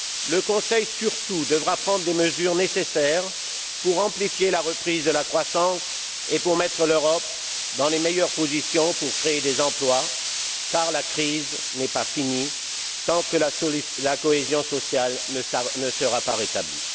Le Conseil surtout devra prendre les mesures nécessaires pour amplifier la reprise de la croissance et pour mettre l'Europe dans les meilleures positions pour créer des emplois, car la crise perdurera tant que la cohésion sociale ne sera pas rétablie.